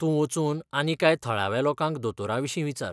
तूं वचून आनी कांय थळाव्या लोकांक दोतोरांविशीं विचार.